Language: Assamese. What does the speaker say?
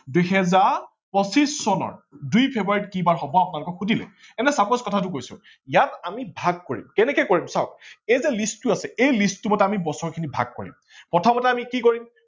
দুহেজাৰ পচিছ চনৰ দুই ফেব্ৰুৱাৰীত কি বাৰ হব আপোনালোকক সোধিলে এনেই suppose মই কথাটো কৈছো ইয়াক আমি ভাগ কৰিম কেনেকে কৰিম চাৱক এই যে list এই list টো মতে আমি বছৰ খিনি ভাগ কৰিম।